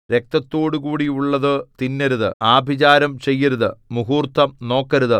രക്തത്തോടുകൂടിയുള്ളതു തിന്നരുത് ആഭിചാരം ചെയ്യരുത് മുഹൂർത്തം നോക്കരുത്